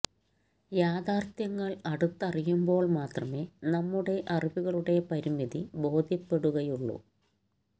യാഥാര്ഥ്യങ്ങള് അടുത്ത് അറിയുമ്പോള് മാത്രമേ നമ്മുടെ അറിവുകളുടെ പരിമിതി ബോധ്യപ്പെടുകയുള്ളൂ